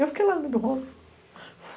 Eu fiquei lá no meio do rolo